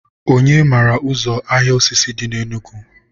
onye mara ụzọ ahịa osisi dị na Enugu?